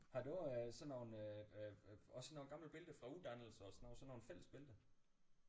Har du øh sådan nogle øh også sådan nogle gamle billeder fra uddannelser og sådan noget sådan nogle fællesbilleder